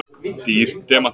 Dýr demantur